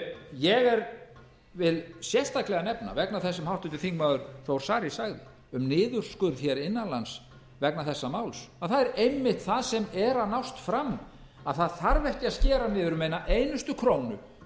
ég vil sérstaklega nefna vegna þess sem háttvirtur þingmaður þór ári sagði um niðurskurð hér innan lands vegna þessa máls að það er einmitt það sem er að nást fram að það þarf ekki að skera niður um eina einustu krónu